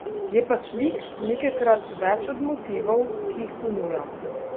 Je pa slik nekajkrat več od motivov, ki jih ponujam.